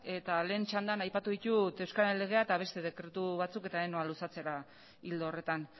eta lehen txandan aipatu ditut euskararen legea eta beste dekretu batzuk eta ez noa luzatzera ildo horretan